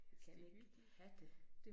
Jeg kan ikke have det